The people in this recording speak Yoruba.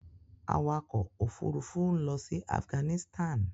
Awakọ̀ òfurufú ń lọ sí Afghanistan.